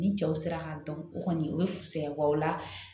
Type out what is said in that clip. Ni cɛw sera ka dɔn o kɔni o bɛ fuɲɛ wa o la